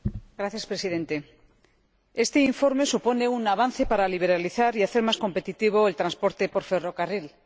Señor Presidente, este informe supone un avance para liberalizar y hacer más competitivo el transporte por ferrocarril.